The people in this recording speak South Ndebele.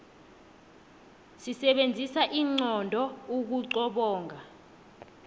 sisebenzisa inqondo ukuqobonga